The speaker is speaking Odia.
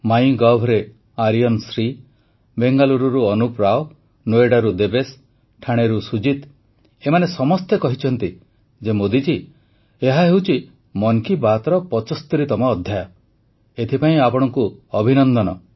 ମାଇ Govରେ ବେଙ୍ଗାଲୁରୁରୁ ଆରିୟନ ଶ୍ରୀଅନୁପ ରାଓ ନୋଏଡାରୁ ଦେବେଶ ଠାଣେରୁ ସୁଜିତ ଏମାନେ ସମସ୍ତେ କହିଛନ୍ତି ଯେ ମୋଦି ଜୀ ଏହା ହେଉଛି ମନ କି ବାତ୍ର ୭୫ତମ ଅଧ୍ୟାୟ ଏଥିପାଇଁ ଆପଣଙ୍କୁ ଅଭିନନ୍ଦନ